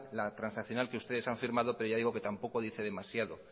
la transaccional que ustedes han firmado pero ya digo que tampoco dice demasiado